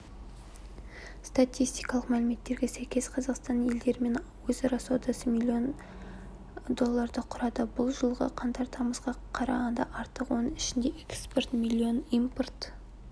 статистикалық мәліметтерге сәйкес қазақстанның елдерімен өзара саудасы миллион долларды құрады бұл жылғы қаңтар-тамызға қарағанда артық оның ішінде экспорт миллион импорт